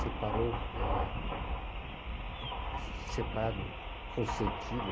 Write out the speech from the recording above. Separou, eh, separo, consentido.